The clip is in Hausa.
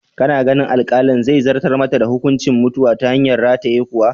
Kana ganin alkalin zai zartar mata da hukuncin mutuwa ta hanyar rataye kwa?